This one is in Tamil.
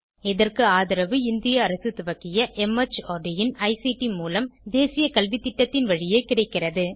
இதற்கு ஆதரவு இந்திய அரசு துவக்கிய மார்ட் இன் ஐசிடி மூலம் தேசிய கல்வித்திட்டத்தின் வழியே கிடைக்கிறது